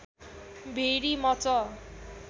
भेरि much